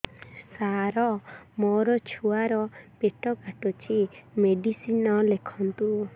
ସାର ମୋର ଛୁଆ ର ପେଟ କାଟୁଚି ମେଡିସିନ ଲେଖନ୍ତୁ